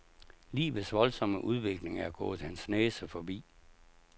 Livets voldsomme udvikling er gået hans næse forbi.